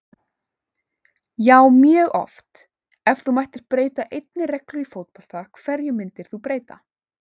Já mjög oft Ef þú mættir breyta einni reglu í fótbolta, hverju myndir þú breyta?